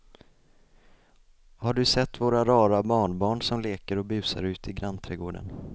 Har du sett våra rara barnbarn som leker och busar ute i grannträdgården!